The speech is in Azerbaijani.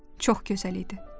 Çox gözəl idi.